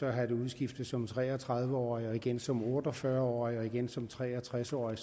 have det udskiftet som tre og tredive årig og igen som otte og fyrre årig og igen som tre og tres årig